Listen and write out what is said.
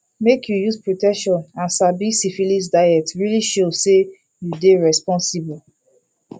make you use protection and sabi syphilis deyit really show say you dey responsible